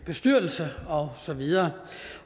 bestyrelser og så videre